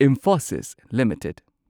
Infosys limited